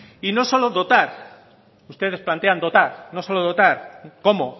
y no solo dotar ustedes plantean dotar no solo dotar cómo